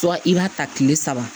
i b'a ta tile saba